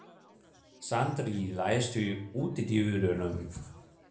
Sandri, læstu útidyrunum.